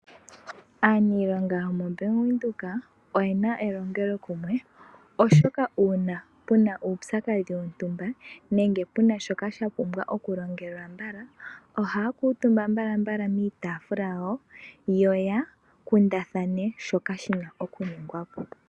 Aanilonga yomoBank Windhoek oyena elongelokumwe, oshoka uuna puna uupyakadhi wontumba, nenge puna shoka sha pumbwa okulongwa mbala, ohaya kuuntumba mbala piitaafula yawo, yo ya kundathane shoka shina okuningwa po.